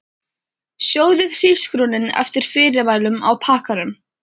Sjóðið hrísgrjónin eftir fyrirmælum á pakkanum.